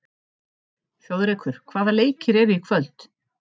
Þjóðrekur, hvaða leikir eru í kvöld?